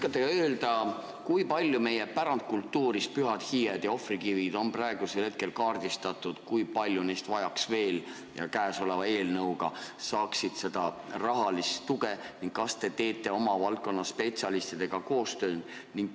Kas te oskate öelda, kui paljud meie pärandkultuuri hulka kuuluvad pühad hiied ja ohvrikivid on praegu kaardistatud, kui paljud neist vajaksid ja käesoleva eelnõuga saaksid rahalist tuge ning kas te teete valdkonna spetsialistidega koostööd?